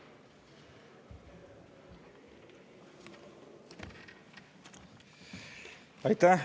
Aitäh!